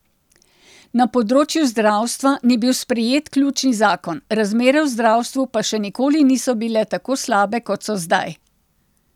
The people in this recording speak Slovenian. Na področju zdravstva ni bil sprejet ključni zakon, razmere v zdravstvu pa še nikoli niso bile tako slabe kot so zdaj.